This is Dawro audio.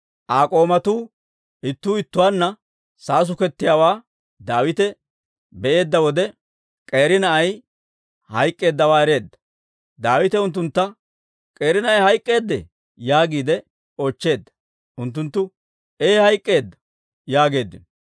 Bare k'oomatuu ittuu ittuwaanna saasukettiyaawaa Daawite be'eedda wode, K'eeri na'ay hayk'k'eeddawaa ereedda. Daawite unttuntta, «K'eeri na'ay hayk'k'eedee?» yaagiide oochcheedda. Unttunttu, «Ee hayk'k'eedda» yaageeddino.